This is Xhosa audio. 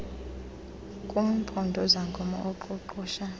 kumpondo zankomo aqoqosha